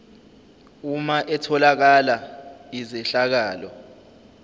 uma etholakala izehlakalo